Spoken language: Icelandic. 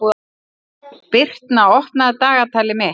Birtna, opnaðu dagatalið mitt.